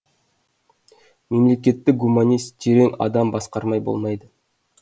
мемлекетті гуманист терең адам басқармай болмайды